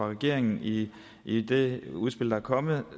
regeringen i i det udspil der er kommet